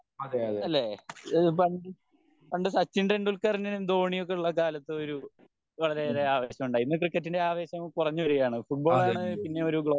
അതെയതെ അതെ